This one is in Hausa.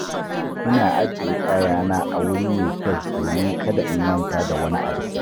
Ina ajiye kayana a wuri mai kyau domin kada in manta da wani abu.